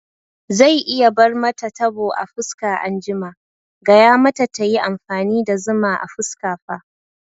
Zai iya bar mata tabo a fuska anjima, gaya mata tayi amfani da zuma a fuska fa